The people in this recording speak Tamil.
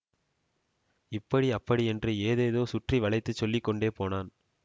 இப்படி அப்படி என்று ஏதேதோ சுற்றி வளைத்துச் சொல்லி கொண்டு போனான்